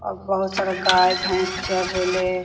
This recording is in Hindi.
और बहुत सारा गाय भेंस चर रेले।